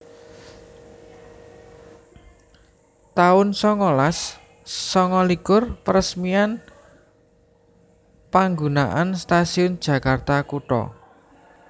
taun songolas sanga likur Paresmian panggunaan Stasiun Jakarta Kutha